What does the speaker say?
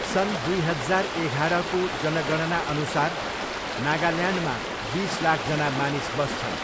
सन् दुई हजार एघारको जनगणनाअनुसार नागाल्यान्डमा बिस लाखजना मानिस बस्छन्।